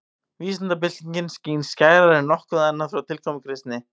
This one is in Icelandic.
Vísindabyltingin skín skærar en nokkuð annað frá tilkomu kristni.